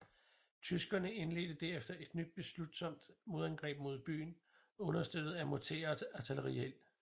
Tyskerne indledte derefter et nyt beslutsomt modangreb mod byen understøttet af morter og artilleriild